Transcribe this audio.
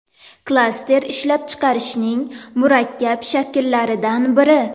Klaster ishlab chiqarishning murakkab shakllaridan biri.